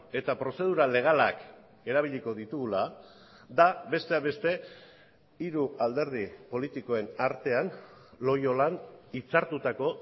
eta prozedura legalak erabiliko ditugula da besteak beste hiru alderdi politikoen artean loiolan hitzartutako